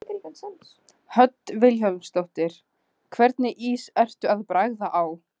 Hödd Vilhjálmsdóttir: Hvernig ís ertu að bragða á?